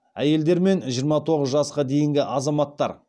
әйелдер мен жиырма тоғыз жасқа дейінгі азаматтар